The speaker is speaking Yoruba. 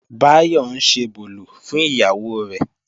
Báyọ̀ ń ṣebòlò fún ìyàwó rẹ̀